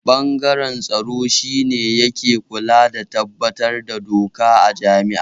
Ɓangaren tsaro shi ne yake kula da tabbatar da doka a jami'a